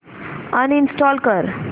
uninstall कर